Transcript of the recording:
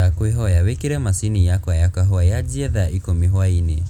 ndakwīhoya wīkīre mashinī yakwa ya kahūwa yajīe thaa īkumi hwaīnī